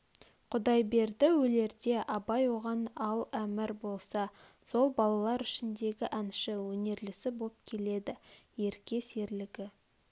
құдайберді өлерде абай оған ал әмір болса сол балалар ішіндегі әнші өнерлісі боп келеді ерке серлігі